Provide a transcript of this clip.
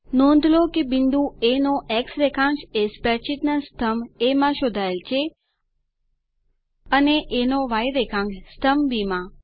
નોંધ લો કે બિંદુ એ નો એક્સ રેખાન્ક્ષ એ સ્પ્રેડશીટ ના સ્તંભ એ માં શોધાયેલ છે અને એ નો ય રેખાન્ક્ષ સ્તંભ બી માં